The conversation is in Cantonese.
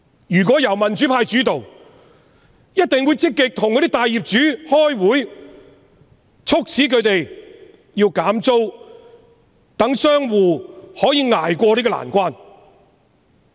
如果香港由民主派主導，一定會積極與大業主開會，促使他們減租，讓商戶可以捱過這個難關。